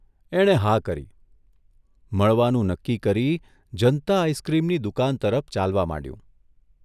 એણે હા કરી, મળવાનું નક્કી કરી ' જનતા આઇસક્રીમ'ની દુકાન તરફ ચાલવા માંડ્યું.